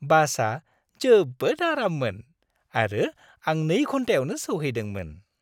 बासआ जोबोद आराममोन आरो आं 2 घन्टायावनो सौहैदोंमोन।